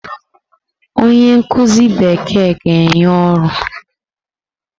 Onye nkuzi Bekee ga-enye ọrụ.